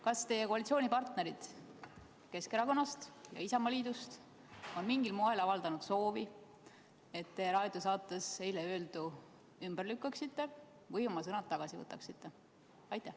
Kas teie koalitsioonipartnerid Keskerakonnast ja Isamaaliidust on mingil moel avaldanud soovi, et te eile raadiosaates öeldu ümber lükkaksite või oma sõnad tagasi võtaksite?